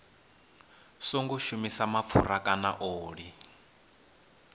songo shumisa mapfura kana oḽi